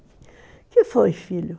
O que foi, filho?